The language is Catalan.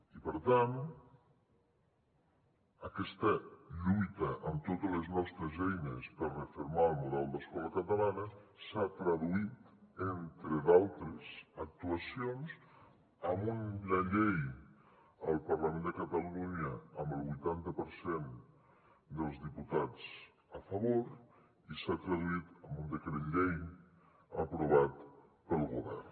i per tant aquesta lluita amb totes les nostres eines per refermar el model d’escola catalana s’ha traduït entre d’altres actuacions en una llei al parlament de catalunya amb el vuitanta per cent dels diputats a favor i s’ha traduït en un decret llei aprovat pel govern